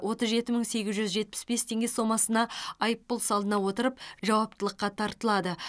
отыз жеті мың сегіз жүз жетпіс бес теңге сомасына айыппұл салына отырып жауаптылыққа тартылады